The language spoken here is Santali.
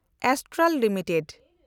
Astral limited